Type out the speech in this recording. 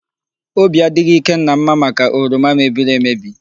Obi adịghị Ikenna mma maka oroma mebiri emebi.